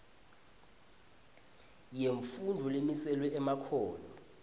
yemfundvo lemiselwe emakhono